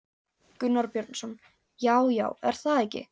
Gunnar Björnsson: Já, já, er það ekki?